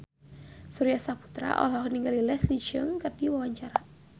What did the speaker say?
Surya Saputra olohok ningali Leslie Cheung keur diwawancara